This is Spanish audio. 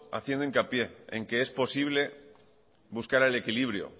haciendo hincapié en que es posible buscar el equilibrio